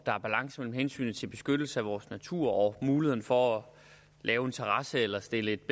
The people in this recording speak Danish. der er balance mellem hensynet til beskyttelsen af vores natur og muligheden for at lave en terrasse eller stille et